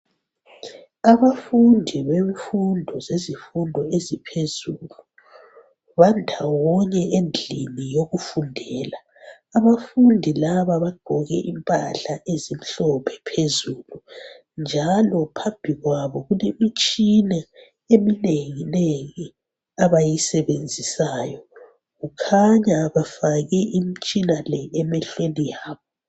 Abafundi bemfundo sezifundo eziphezulu bandawonye endlini yokufundela. Abafundi laba bagqoke impahla ezimhlophe phezulu njalo phambi kwabo kulemitshina eminenginengi abayisebenzisayo . Kukhanya befake imitshina le emehlweni yabo .